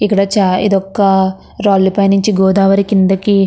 ఇక్కడ చాలా ఇదొక్క రాళ్ళు పైన నుంచి గోదావరి కిందకి --